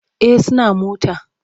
Eh suna mota.